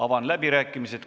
Avan läbirääkimised.